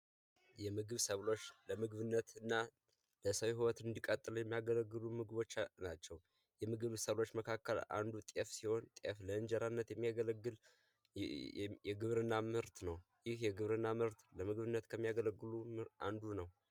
የምግብ ሰብሎች ለምግብነት እና የሰው ህይወት እንዲቀጥሉ የሚያገለግሉ ምግቦች ናቸው። ከምግብ ሰብሎች መካከል አንዱ ጤፍ ሲሆን ጤፍ ለእንጀራነት የሚያገለግል የግብርና ምርት ነው። ይህ የግብርና ምርት ለምግብነት ከሚያገለግሉት አንዱ ነው።